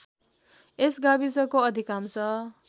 यस गाविसको अधिकांश